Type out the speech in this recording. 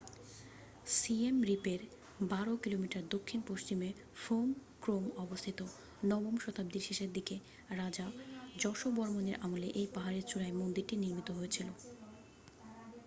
Siem রিপের 12 কিমি দক্ষিণ-পশ্চিমে ফোম ক্রোম অবস্থিত নবম শতাব্দীর শেষদিকে রাজা যশোবর্মনের আমলে এই পাহাড়ের চূড়ার মন্দিরটি নির্মিত হয়েছিল